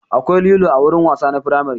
Akwai lilo a wurin wasa na firamare